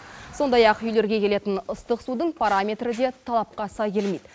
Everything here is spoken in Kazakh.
сондай ақ үйлерге келетін ыстық судың параметрі де талапқа сай келмейді